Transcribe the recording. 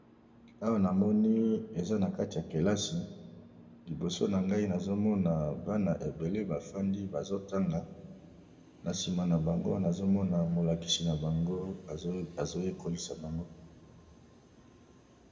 Awa na moni eza na kati ya kelasi liboso na ngai nazomona bana ebele bafandi bazo tanga na nsima na bango nazomona molakisi na bango azoyekolisa bango.